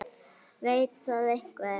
Veit það einhver?